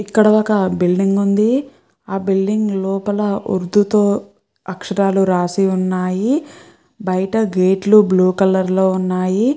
ఇక్కడ ఒక బిల్డింగ్ ఉంది. ఆ బిల్డింగ్ లోపల ఉర్దూ తో అక్షరాలు రాసి ఉన్నాయి. బయట గేట్ లు బ్లూ కలర్ లో ఉన్నాయి.